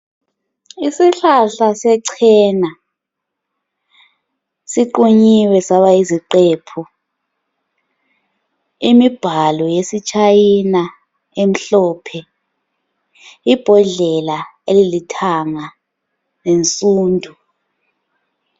Isihlahla sechena, siqunyiwe saba yiziqephu. Imibhalo yesiChina emhlophe, ibhodlela elilithanga lensundu.